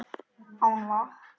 Án vatns.